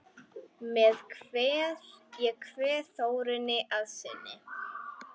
Ég kveð Þórunni að sinni.